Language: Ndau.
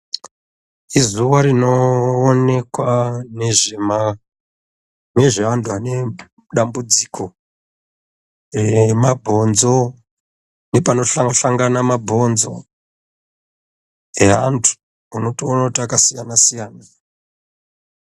Izuwa rinoonekwa nezve antu ane dambudziko remabhonzo nepanohlangane mabhonzo eantu, unotone kuti akasiyanasiyana.